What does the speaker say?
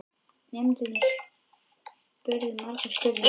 Nemendurnir spurðu margra spurninga.